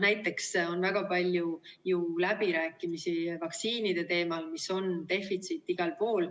Näiteks on ju väga palju läbirääkimisi vaktsiinide teemal, mis on defitsiit igal pool.